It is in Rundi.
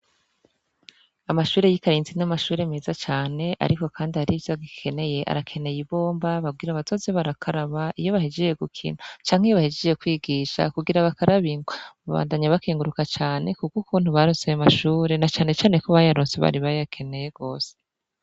Amashure y'i karintsi n'amashure meza cane, ariko, kandi arivyo gikeneye arakeneye ibomba babwira abatozi barakaraba iyo bahejiye gukina canke iyo bahijiye kwigisha kugira bakarabinkwa mubandanya bakinguruka cane kubwo ukuntu baroseye amashure na canecaneko bayarose bari bayakeneye gose.